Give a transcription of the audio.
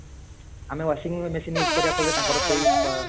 ଆମେ washing ରେ machine use କରିବା ଫଳରେ ତାଙ୍କର ସେଇ ପା